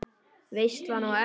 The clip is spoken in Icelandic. Veislan á eftir?